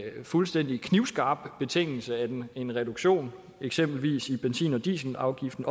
fuldstændig knivskarp betingelse at en reduktion i eksempelvis benzin og dieselafgiften